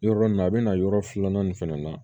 Yɔrɔ nin na a bɛna yɔrɔ filanan in fɛnɛ na